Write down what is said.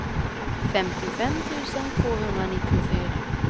femtiofem tusen tvåhundranittiofyra